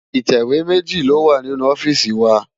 Itéwé méji lówá ninú òfìsí wá